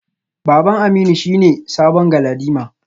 Baban Aminu shine sabon galadima.